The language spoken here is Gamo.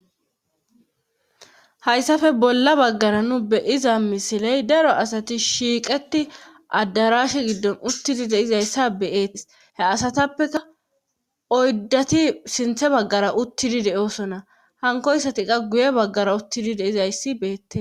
hayssafe bolla baggara nu beyiza misiley daro asati shiiqeti addarash giddon uttidi deizayssa beeet he asatappeka oyddati sinthe baggara uttidi de7osona hankoyssati qa guye baggara uttidi de'izayssi beettes